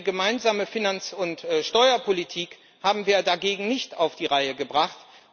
Eine gemeinsame Finanz und Steuerpolitik haben wir dagegen nicht auf die Reihe gebracht.